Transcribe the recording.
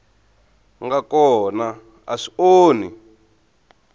nga kona a swi onhi